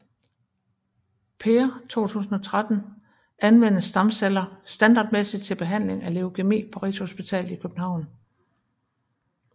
Per 2013 anvendes stamceller standardmæssigt til behandling af leukæmi på Rigshospitalet i København